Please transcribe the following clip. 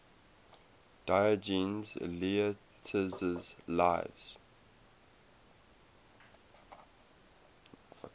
diogenes laertius's lives